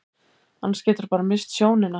Annars geturðu bara misst sjónina.